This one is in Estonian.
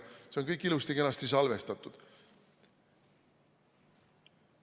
See on kõik ilusti-kenasti salvestatud.